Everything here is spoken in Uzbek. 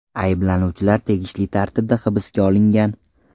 Ayblanuvchilar tegishli tartibda hibsga olingan.